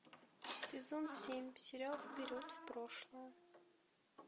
сезон семь сериал вперед в прошлое